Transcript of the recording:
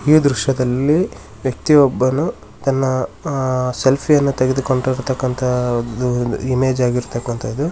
ಈ ದೃಶ್ಯದಲ್ಲಿ ವ್ಯಕ್ತಿಯೊಬ್ಬನು ತನ್ನ ಸೆಲ್ಫಿಯೆನ್ನು ತೆಗೆದುಕೊಂಡಿರುವಂತ ಇರುವಂತಹ ಇಮೇಜ್ ಆಗಿರುವಂಥದ್ದು.